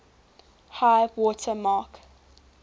high water mark